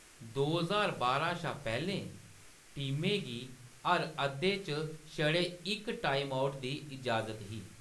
दो ज्हार बारां शा पैह्‌‌‌लें, टीमें गी हर अद्धे च छड़े इक टाइमआउट दी इजाजत ही।